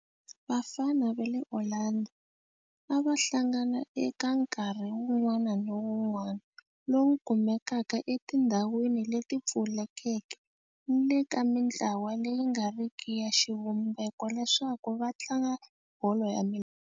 Vafana va le Orlando a va hlangana eka nkarhi wun'wana ni wun'wana lowu kumekaka etindhawini leti pfulekeke ni le ka mintlawa leyi nga riki ya xivumbeko leswaku va tlanga bolo ya milenge.